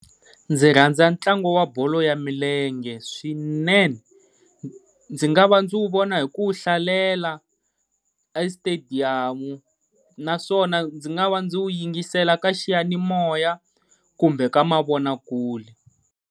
Ndzi rhandza ntlangu wa bolo ya milenge swinene, ndzi nga va ndzi wu vona hi ku wu hlalela a xitediyamu, naswona ndzi nga va ndzi wu yingisela ka xiyanimoya kumbe ka mavonakule.